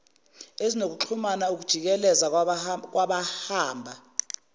ezinokuxhumana ukujikeleza kwabahamba